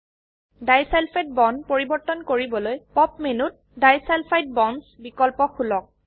disulphide bond পৰিবৰ্তন কৰিবলৈ pop মেনুত ডিছালফাইড বণ্ডছ বিকল্প খুলক